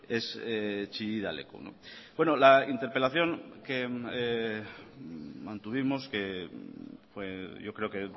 es chillida leku la interpelación que mantuvimos que yo creo que